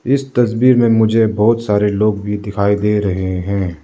इस तस्वीर में मुझे बहुत सारे लोग भी दिखाई दे रहे हैं।